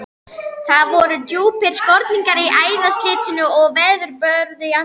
Það voru djúpir skorningar í æðaslitnu og veðurbörðu andlitinu.